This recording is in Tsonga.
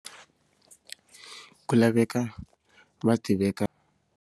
Ku laveka .